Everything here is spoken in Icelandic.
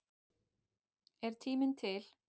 Er tíminn til?